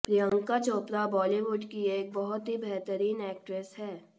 प्रियंका चोपड़ा बॉलीवुड की एक बहुत ही बेहतरीन एक्ट्रेस हैं